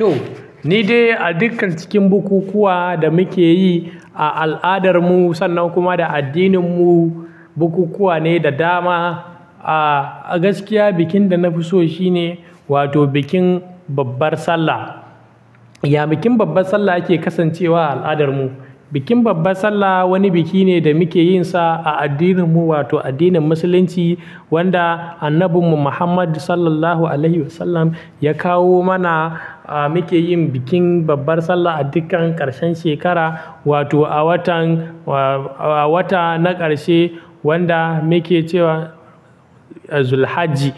To, ni dai a dukkan cikin bukukuwa da muke yi, a al'adarmu sannan kuma a addininmu, bukukuwa ne da dama, a gaskiya, bikin da na fi so shi ne wato bikin babbar Sallah. Ya bikin babbar Sallah yake kasancewa a al'adarmu? Bikin babbar Sallah wani biki ne da muke yin sa a addininmu wato addinin musulunci, wanda Annabinmu Muhammad Sallallahu Alaihi Wasallam ya kawo mana. Mu ke yin bikin babbar Sallah a dukkan ƙarshen shekara, wato a watan, a wata na ƙarshe wanda muke cewa Zul hajji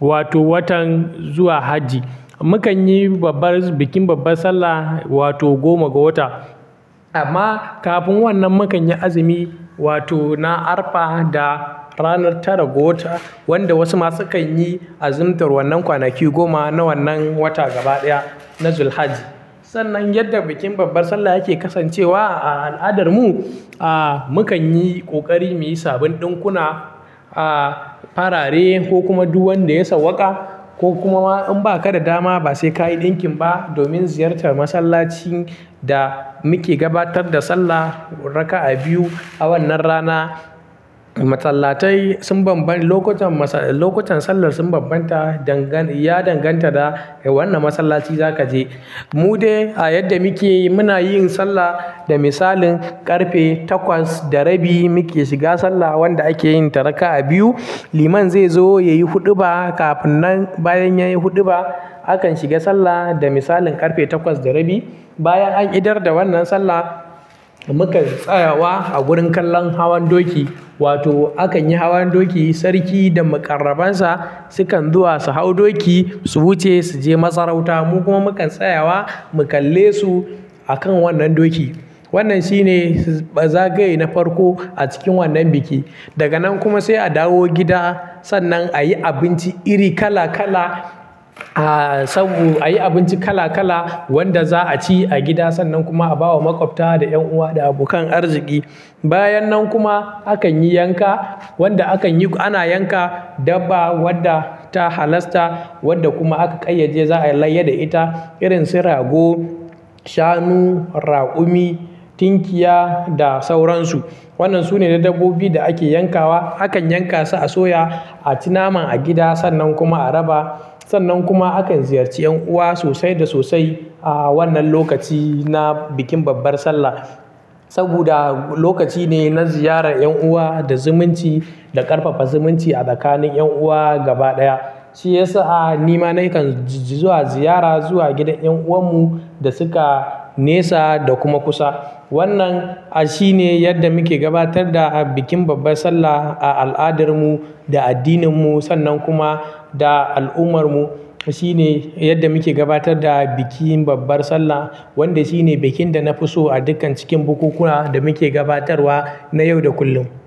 wato watan zuwa hajji. Mu kan yi babbar, bikin babbar Sallah wato goma ga wata. Amma kafin wannan mu kan yi azumi wato na arfa da ranar tara ga wata, wanda wasu ma su kan yi azumtar wannan kwanaki goma na wannan wata gaba ɗaya na Zul hajji. Sannan yadda bikin babbar Sallah yake kasancewa a al'adarmu, ah mukan yi ƙoƙari mu yi saban ɗinkuna, farare ko kuma du wan da ya sauwaƙa, ko kuma ma in ba ka da dama ba sai ka yi ɗinkin ba domin ziyartar masallacin da muke gabatar da sallah raka'a biyu a wannan rana, masallatai sun bambanta, lokutan masall, lokutan sallar sun bambanta. Dangant, ya danganta da wanna masallaci za ka je. Mu dai a yadda muke yi, muna yin sallah da misalin ƙarfe takwas da rabi muke shiga sallah wanda ake yin ta raka'a biyu, Liman zai zo ya yi huɗuba. Kafinnan bayan ya yi huɗuba, akan shiga sallah da misalin ƙarfe takwas da rabi, bayan an idar da wannan sallah, mu kan tsayawa a gurin kallon hawan doki wato akan yi hawan doki, Sarki da maƙarrabansa, su kan zuwa su hau doki, su wuce su je masarauta, mu kuma mu kan tsayawa mu kalle su a kan wannan doki. Wannan shi ne zagaye na farko a cikin wannan biki. Daga nan kuma sai a dawo gida sannan a yi abinci iri kala kala. Ah sabo, a yi abinci kala-kala wanda za'a ci a gida sannan kuma a ba wa maƙwabta da 'yan uwa da abokan arziki. Bayan nan kuma akan yi yanka wanda akan yi, ana yanka dabba wadda ta halasta, wadda kuma aka ƙayyade za ai layya da ita irin su rago, shanu, raƙumi, tinkiya da sauransu. Wannan su ne na dabbobi da ake yankawa, akan yanka su a soya, a ci naman a gida sannan kuma a raba. Sannan kuma akan ziyarci ƴan uwa sosai da sosai a wannan lokaci na bikin babbar Sallah, saboda lokaci ne na ziyarar ƴan uwa da zumunci da ƙarfafa zumunci a tsakanin ƴan uwa gaba ɗaya. Shi ya sa a nima na kan ji zuwa ziyara zuwa gidan ƴan uwanmu da su ka nesa da kuma kusa. Wannan shi ne yadda muke gabatar da bikin babbar Sallah a al'adarmu da addininmu sannan kuma da al'ummarmu, shi ne yadda muke gabatar da bikin babbar Sallah wanda shi ne bikin da na fi so a dukkan cikin bukukuwa da muke gabatarwa na yau da kullum.